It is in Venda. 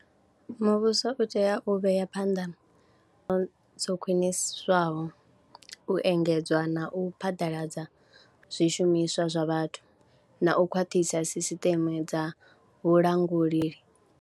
Muvhuso u tea u vhea phanḓa, dzo khwiniswaho u engedzwa na u phaḓaladza zwishumiswa zwa vhathu na u khwaṱhisa sisiṱeme dza vhulanguli.